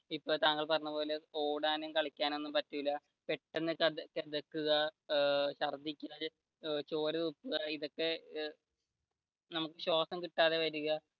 ഇപ്പൊ താങ്കൾ പറഞ്ഞപോലെ ഓടാനും കളിക്കാനും പറ്റൂല പെട്ടെന്ന് കിതക്കുക ചോര തുപ്പുക ഇതൊക്കെ നമുക്ക് ശ്വാസം കിട്ടാതെ വരുക